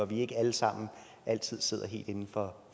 vi ikke alle sammen altid sidder helt inden for